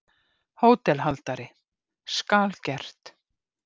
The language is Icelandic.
HÓTELHALDARI: Skal gert!